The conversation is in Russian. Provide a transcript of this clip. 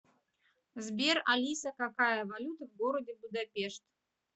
сбер алиса какая валюта в городе будапешт